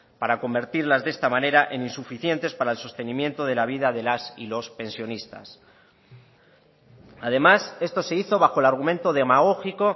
para convertirlas de esta manera en insuficientes para el sostenimiento de la vida de las y los pensionistas además esto se hizo bajo el argumento demagógico